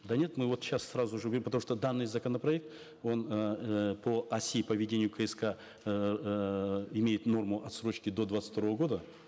да нет мы вот сейчас сразу же потому что данный законопроект он эээ по оси по ведению кск эээ имеет норму отсрочки до двадцать второго года